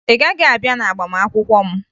Ị gaghị abịa n'agbamakwụkwọ m